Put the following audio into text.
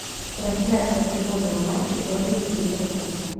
трансляция футбольного матча бернли ливерпуль